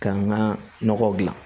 K'an ka nɔgɔw gilan